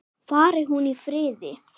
Fari hún í friði.